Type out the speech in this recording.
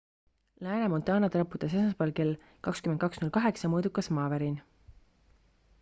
lääne-montanat raputas esmaspäeval kell 22:08 mõõdukas maavärin